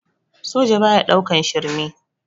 Soja baya ɗaukan shirme